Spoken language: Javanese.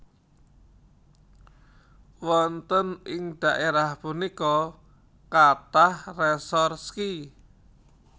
Wonten ing daerah punika kathah resor ski